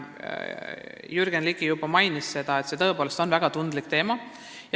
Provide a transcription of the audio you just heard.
Jürgen Ligi juba mainis seda, see on tõepoolest väga tundlik teema.